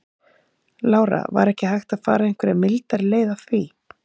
Lára: Var ekki hægt að fara einhverja mildari leið að því?